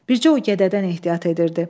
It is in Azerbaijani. Bircə o gədədən ehtiyat edirdi.